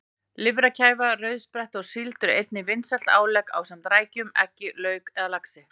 Lifrarkæfa, rauðspretta og síld eru einnig vinsæl álegg ásamt rækjum, eggjum, lauk eða laxi.